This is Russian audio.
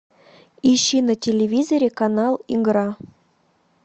ищи на телевизоре канал игра